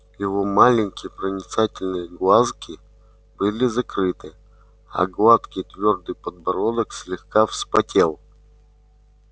его маленькие проницательные глазки были закрыты а гладкий твёрдый подбородок слегка вспотел